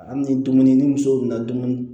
Hali ni dumuni ni muso nana dumuni